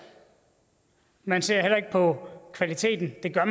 man ser heller ikke på kvaliteten eller